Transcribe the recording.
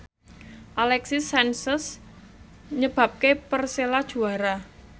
Alexis Sanchez nyebabke Persela juara